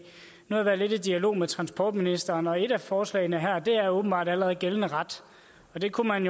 jeg har været lidt i dialog med transportministeren og et af forslagene her er åbenbart allerede gældende ret og det kunne man